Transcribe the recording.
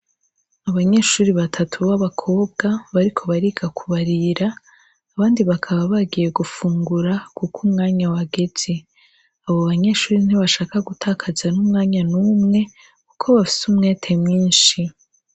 Abanyeshure batatu babakobwa bariko bariga kubarira abandi bakaba bagiye gufungura kuko umwanya wageze abobanyeshure ntibashaka gutakaza numwanya numwe kuko bafise umwete mwinshi